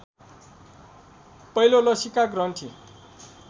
पहिलो लसीका ग्रन्थि